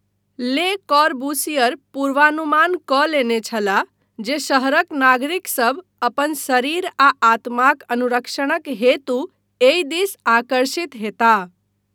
ले कॉर्बूसियर पूर्वानुमान कऽ लेने छलाह जे शहरक नागरिकसभ अपन 'शरीर आ आत्माक अनुरक्षण'क हेतु एहि दिस आकर्षित हेताह।